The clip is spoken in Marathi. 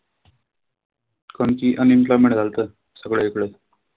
कारण की unemployment झालंत सगळीकडे.